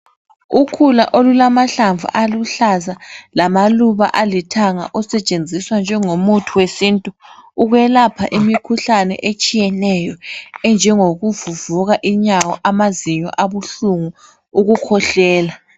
Ukhula olulamahlamvu aluhlaza lamaluba alithanga asetshenziswa njengomuthi wesintu ukwelapha imikhuhlane etshiyeneyo enjengokuvuvuka inyawo amazinyo abuhlungu ukukhwehlela